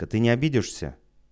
та ты не обидишься